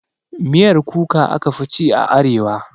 Miyar Kuka aka fi ci a arewa